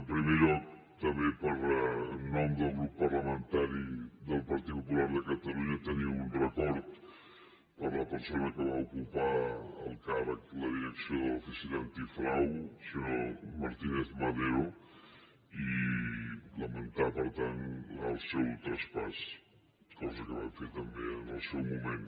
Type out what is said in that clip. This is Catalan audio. en primer lloc també per en nom del grup parlamentari del partit popular de catalunya tenir un record per a la persona que va ocupar el càrrec la direcció de l’oficina antifrau el senyor martínez madero i lamentar per tant el seu traspàs cosa que vam fer també en el seu moment